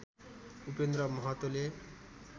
Upendra महतोले